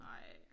Ej